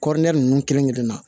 Kɔri ninnu kelen kelen na